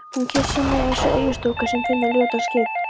Hún kyssir mig eins og eyjastúlka sem finnur ljótan skip